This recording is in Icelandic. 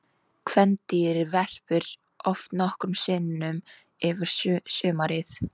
Kvendýrið verpir oft nokkrum sinnum yfir sumarið.